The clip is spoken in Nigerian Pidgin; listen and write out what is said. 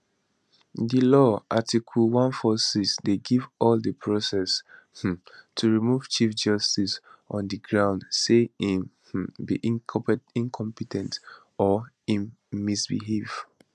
di law article 146 dey give all di process um to remove chief justice on di grounds say im um be incompe ten t or im misbehave